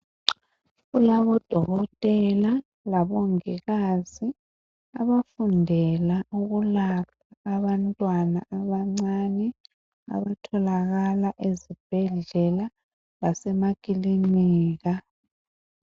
Kulabodokotela labomongikazi abafundela ukulapha abantwana abancane abatholakala ezibhedlela lasemakilinika.